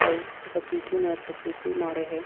अऊ ओकर पीछू मे एक ठो कुर्सी माड़े हे।